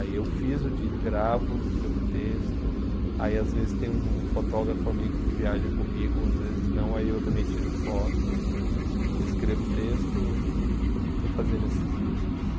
Aí eu fiz o disco gravo, escrevo texto, aí às vezes tem um fotógrafo amigo que viaja comigo, às vezes não, aí eu também tiro foto, eu escrevo texto e estou fazendo esses discos.